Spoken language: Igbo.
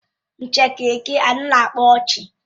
Njakịrị gị anaghị akpa ọchị.